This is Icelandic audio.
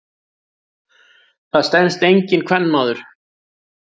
Það stenst enginn kvenmaður.